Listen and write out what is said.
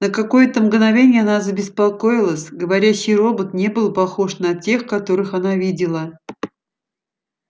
на какое-то мгновение она забеспокоилась говорящий робот не был похож на тех которых она видела